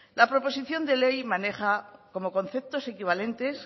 la proposición de ley maneja como conceptos equivalentes